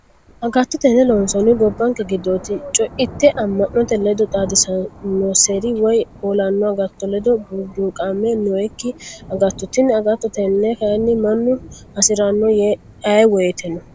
Agatto tene loonsanihu gobbanke giddoti coite ama'note ledo xaadisanoseri woyi ho'lonni agatto ledo burduqame nooyikki agattoti tini agatto tene kayinni mannu hasirano ayee woyteno.